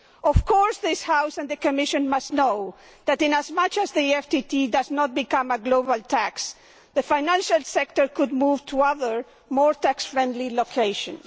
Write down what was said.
Of course this House and the Commission must know that as long as the FTT does not become a global tax, the financial sector could move to other, more tax friendly locations.